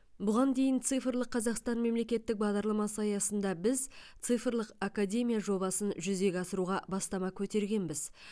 бұған дейін цифрлық қазақстан мемлекеттік бағдарламасы аясында біз цифрлық академия жобасын жүзеге асыруға бастама көтергенбіз